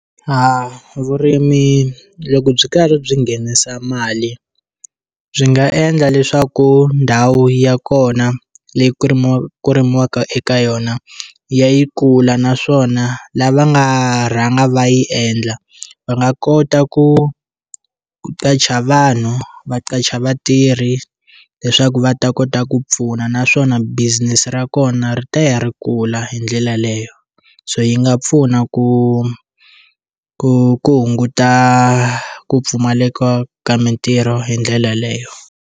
A vurimi loko byi karhi byi nghenisa mali byi nga endla leswaku ndhawu ya kona leyi ku rimiwaku ku rimiwaka eka yona ya yi kula naswona lava nga rhanga va yi endla va nga kota ku ku qacha vanhu va qacha vatirhi leswaku va ta kota ku pfuna naswona business ra kona ri ta ya ri kula hi ndlela leyo so yi nga pfuna ku ku ku hunguta ku pfumaleka ka mitirho hi ndlela leyo.